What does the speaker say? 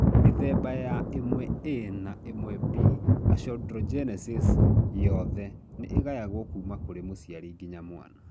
Mĩthemba ya 1A na 1B achondrogenesis yothe nĩ ĩgayagwo kuma kũrĩ mũciari nginya mwana